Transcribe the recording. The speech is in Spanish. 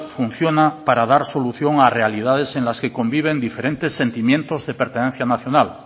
funciona para dar solución a realidades en las que conviven diferentes sentimientos de pertenencia nacional